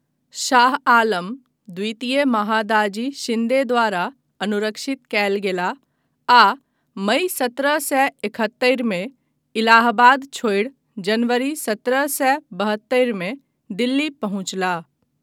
शाह आलम द्वितीय महादाजी शिन्दे द्वारा अनुरक्षित कयल गेलाह आ मई सत्रह सए एकहत्तरि मे इलाहाबाद छोड़ि जनवरी सत्रह सए बहत्तरि मे दिल्ली पहुँचलाह।